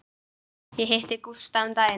Ég hitti Gústa um daginn.